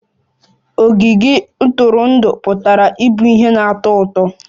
Ogige ntụrụndụ pụtara ịbụ ihe na-atọ ụtọ